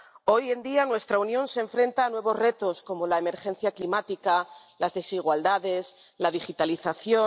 Hoy en día nuestra Unión se enfrenta a nuevos retos como la emergencia climática, las desigualdades, la digitalización.